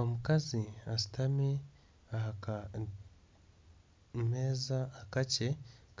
Omukazi ashutami ah'akameza akakye